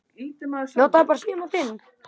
Frænka er mjög stolt.